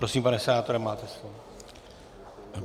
Prosím, pane senátore, máte slovo.